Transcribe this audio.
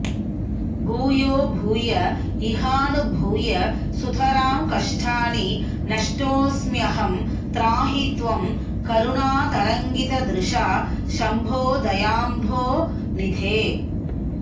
भूयो भूय इहानुभूय सुतरां कष्टानि नष्टोऽस्म्यहं त्राहि त्वं करुणातरङ्गितदृशा शंभो दयाम्भोनिधे